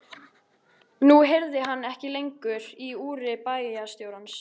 Nú heyrði hann ekki lengur í úri bæjarstjórans.